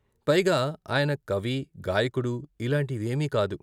పైగా ఆయన కవి, గాయకుడు ఇలాంటి వేమీ కాదు.